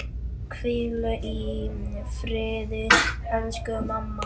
Hvíl í friði elsku mamma.